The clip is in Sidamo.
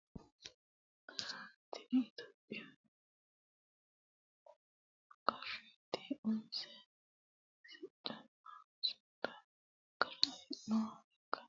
itiyophiyu gashshooti umisiha siccunna sumudu gara afirinoha ikkanna konne sumuda dirunku ledo borreessine worroonniha kiirosi sette ikkannoha anfanni baseeti .